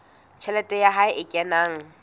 tjhelete ya hae e kenang